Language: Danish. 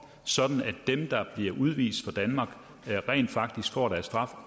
sådan at de der bliver udvist af danmark rent faktisk får deres straf